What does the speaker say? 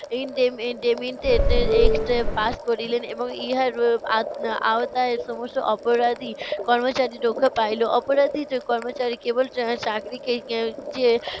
act pass করিলেন এবং ইহার আ~আওতায় সমস্ত অপরাধী কর্মচারী রক্ষা পাইলো। অপরাধীর কর্মচারী কেবল আহ চাকরিকেই